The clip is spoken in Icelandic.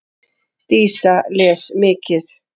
Dísa les mikið.